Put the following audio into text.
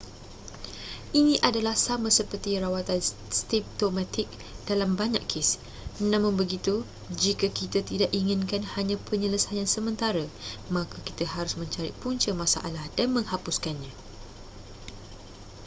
ini adalah sama seperti rawatan simptomatik dalam banyak kes namun begitu jika kita tidak inginkan hanya penyelesaian sementara maka kita harus mencari punca masalah dan menghapuskannya